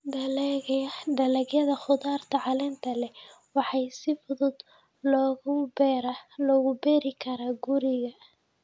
Dalagyada khudaarta caleenta leh waxaa si fudud loogu beeri karaa guriga.